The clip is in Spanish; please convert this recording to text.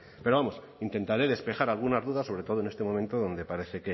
pero vamos intentaré despejar algunas dudas sobre todo en este momento donde parece